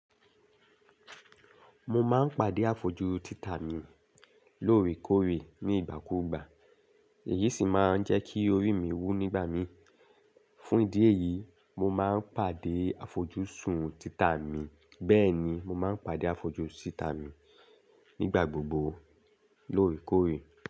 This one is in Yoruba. Mo ma n pàdé àfojú títa mi lóòrèkóòrè ní ìgbà kúùgbà, èyí sì ma n jẹ́ kí orí mi wú nígbà mí. Fún ìdí èyí, mo ma n pàdé àfojú sùn títa mi, bẹ́ẹ̀ ni mo ma n pàdé àfojú síta mi nígbà gbogbo lóòrèkóòrè.